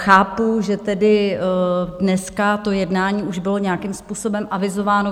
Chápu, že tedy dneska to jednání už bylo nějakým způsobem avizováno.